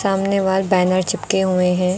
सामने wall banner चिपके हुए हैं।